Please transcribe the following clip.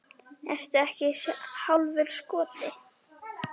Ertu ekki hálfur skoti?